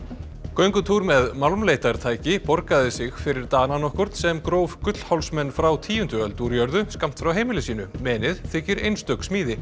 göngutúr með borgaði sig fyrir Dana nokkurn sem gróf frá tíundu öld úr jörðu skammt frá heimili sínu þykir einstök smíði